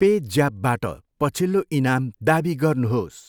Pay ज्यापबाट पछिल्लो इनाम दावी गर्नुहोस्।